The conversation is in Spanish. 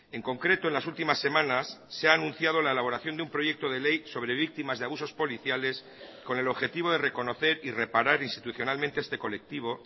en concreto en las últimas semanas se ha anunciado la elaboración de un proyecto de ley sobre víctimas de abusos policiales con el objetivo de reconocer y reparar institucionalmente este colectivo